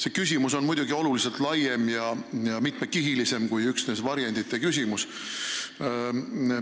See teema on muidugi oluliselt laiem ja mitmekihilisem kui üksnes varjendite küsimus.